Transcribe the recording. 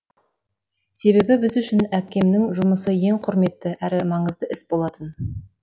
себебі біз үшін әкемнің жұмысы ең құрметті әрі маңызды іс болатын